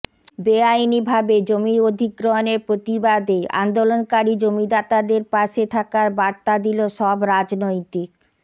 বেআইনি ভাবে জমি অধিগ্রহণের প্রতিবাদে আন্দোলনকারী জমিদাতাদের পাশে থাকার বার্তা দিল সব রাজনৈতিক